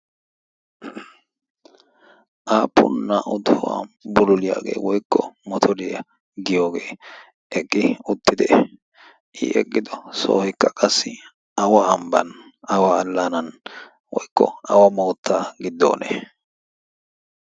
aappun naa77u tohuwaa buloliyaagee woikko motoriyaa giyoogee eqqi uttidee? i eqqido soohikka qassi awa hambban awa allaanan woikko awa moottaa giddoonee?